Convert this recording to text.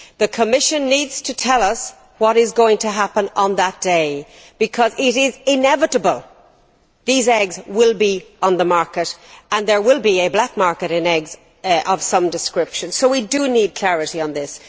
The Commission needs to tell us what is going to happen on that day, because it is inevitable these eggs will be on the market and there will be a black market in eggs of some description, so we do need clarity on this.